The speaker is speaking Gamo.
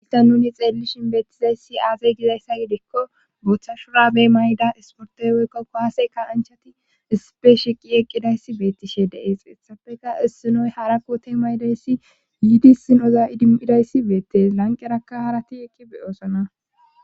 Inta nuni xeellishin beettizayssi aazay dizayssa gidikko booththa shura be mayda isportey weykkokko haaseykka anchati ispe shiqi eqqidayssi beettishe deees essafeka issinoy harakkoote maydayssi yiidi sinoza idimmidayssi beette lanqerakka harati eqqi beyoosona